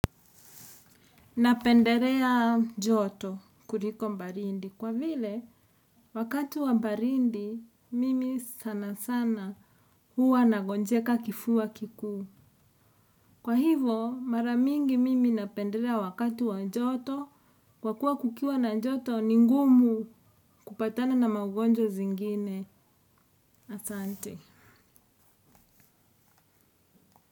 Napendelea joto kuliko baridi kwa vile wakati wa baridi mimi sana sana huwa nagonjeka kifua kikuu. Kwa hivo maramingi mimi napendelea wakati wa joto kwa kuwa kukiwa na joto ni ngumu kupatana na magonjwa zingine asante.